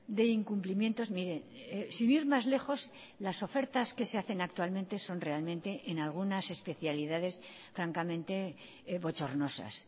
de incumplimientos mire sin ir más lejos las ofertas que se hacen actualmente son realmente en algunas especialidades francamente bochornosas